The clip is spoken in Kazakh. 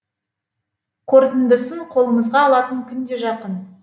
қорытындысын қолымызға алатын күн де жақын